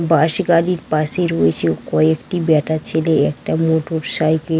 বাস গাড়ির পাশে রয়েছে কয়েকটি বেটা ছেলে কয়েটি মোটর সাইকেল ।